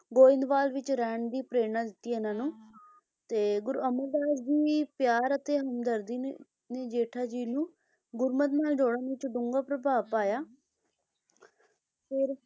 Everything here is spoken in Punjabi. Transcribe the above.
ਗੋਇੰਦਵਾਲ ਵਿਖੇ ਰਹਿਣ ਦੀ ਪ੍ਰੇਰਨਾ ਦਿੱਤੀ ਇਹਨਾਂ ਨੂੰ ਤੇ ਗੁਰੂ ਅਮਰਦਾਸ ਜੀ ਪਿਆਰ ਅਤੇ ਹਮਦਰਦੀ ਨੂੰ ਜੇਠਾ ਜੀ ਨੂੰ ਗੁਰਮਤਿ ਨਾਲ ਜੋੜਨ ਵਿੱਚ ਡੂੰਘਾ ਪ੍ਰਭਾਵ ਪਾਇਆ ਹੁੰ ਹੁੰ ਫੇਰ,